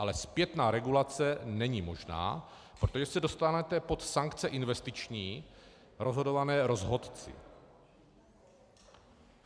Ale zpětná regulace není možná, protože se dostanete pod sankce investiční rozhodované rozhodci.